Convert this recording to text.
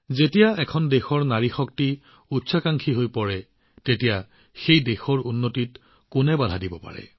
যেতিয়া এখন দেশৰ কন্যাসকল ইমান অভিলাষী হৈ পৰে তেতিয়া সেই দেশখন উন্নত হিচাপে বিকাশ হোৱাত কোনে বাধা দিব পাৰে